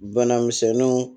Bana misɛnninw